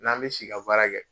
N'an mɛ si baara kɛ